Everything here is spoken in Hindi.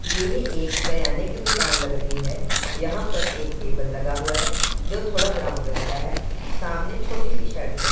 येह एक करयाने की दुकान लग रही है यहां पर एक टेबल लगा हुआ है जो थोड़ा ब्राउन रंग का है सामने छोटी सी शर्ट्स बनी--